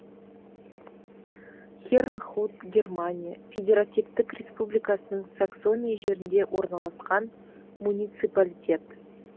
хернхут германия федеративтік республикасының саксония жерінде орналасқан муниципалитет